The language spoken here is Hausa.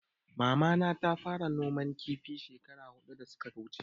Mama na ta fara noman kifi shekara hudu da suka wuche